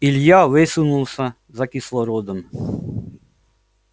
илья высунулся за кислородом